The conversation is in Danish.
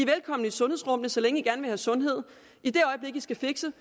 velkomne i sundhedsrummet så længe i gerne vil have sundhed i det øjeblik i skal fikse